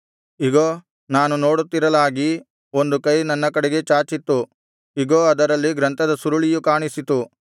ಇಗೋ ನಾನು ನೋಡುತ್ತಿರಲಾಗಿ ಒಂದು ಕೈ ನನ್ನ ಕಡೆಗೆ ಚಾಚಿತ್ತು ಇಗೋ ಅದರಲ್ಲಿ ಗ್ರಂಥದ ಸುರುಳಿಯು ಕಾಣಿಸಿತು